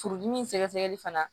Furudimi sɛgɛsɛgɛli fana